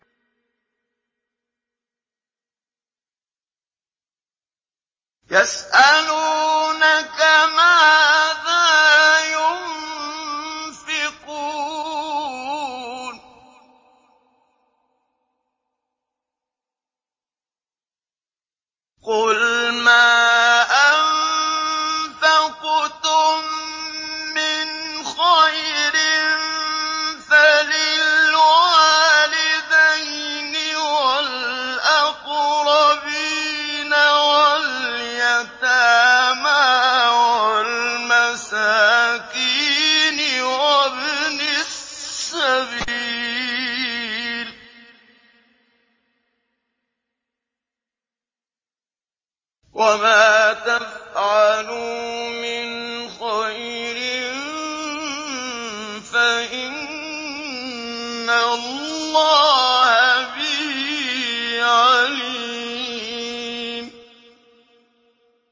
يَسْأَلُونَكَ مَاذَا يُنفِقُونَ ۖ قُلْ مَا أَنفَقْتُم مِّنْ خَيْرٍ فَلِلْوَالِدَيْنِ وَالْأَقْرَبِينَ وَالْيَتَامَىٰ وَالْمَسَاكِينِ وَابْنِ السَّبِيلِ ۗ وَمَا تَفْعَلُوا مِنْ خَيْرٍ فَإِنَّ اللَّهَ بِهِ عَلِيمٌ